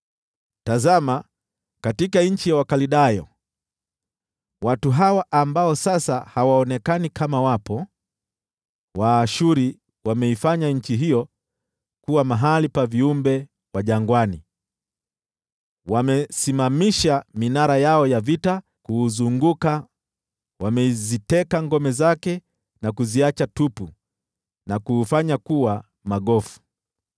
Tazama katika nchi ya Wakaldayo, watu hawa ambao sasa hawaonekani kama wapo! Waashuru wameifanya nchi hiyo kuwa mahali pa viumbe wa jangwani. Wamesimamisha minara yao ya vita kuuzunguka, wameziteka ngome zake na kuziacha tupu na kuufanya kuwa magofu.